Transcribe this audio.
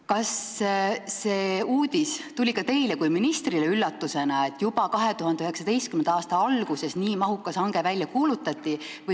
Kas see uudis tuli ka teile kui ministrile üllatusena, et juba 2019. aasta alguses nii mahukas hange välja kuulutati?